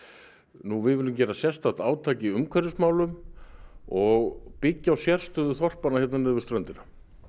nú við viljum gera sérstakt átak í umhverfismálum og byggja á sérstöðu þorpanna hérna niðri við ströndina